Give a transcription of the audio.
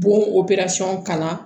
Bɔn kalan